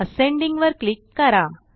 ascending वर click करा